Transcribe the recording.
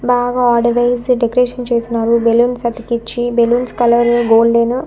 బాగా ఆడవేసి డెకరేషన్ చేసినారు బెలూన్స్ అతికిచ్చి బెలూన్స్ కలరు గోల్డెను .